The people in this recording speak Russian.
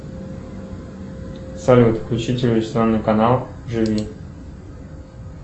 салют включи телевизионный канал живи